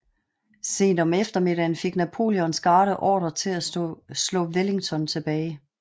Sent om eftermiddagen fik Napoleons garde ordre til at slå Wellington tilbage